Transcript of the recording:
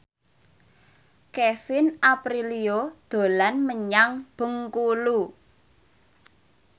Kevin Aprilio dolan menyang Bengkulu